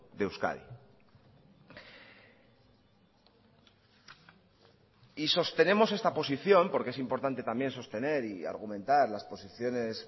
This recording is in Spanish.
de euskadi y sostenemos esta posición porque es importante también sostener y argumentar las posiciones